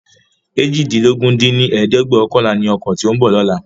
eéjìdínlógún dín ní ẹ̀ẹ́dẹ́gbẹ́ọ̀kànlá ni ọkọ tí ó ń bọ̀ lóla